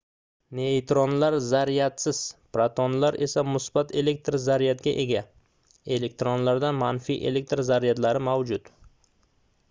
neytronlar zaryadsiz protonlar esa musbat elektr zaryadga ega elektronlarda manfiy elektr zaryadlar mavjud